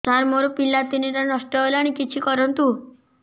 ସାର ମୋର ପିଲା ତିନିଟା ନଷ୍ଟ ହେଲାଣି କିଛି କରନ୍ତୁ